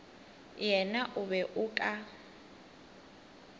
yena o be o ka